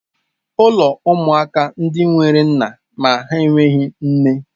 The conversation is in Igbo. Ụlọ ụmụaka ndị nwere nna ma ha enweghị nne.